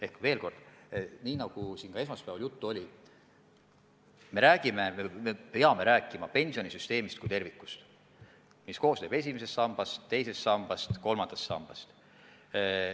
Ehk veel kord: nii nagu siin ka esmaspäeval juttu oli, me peame rääkima pensionisüsteemist kui tervikust, mis koosneb esimesest sambast, teisest sambast ja kolmandast sambast.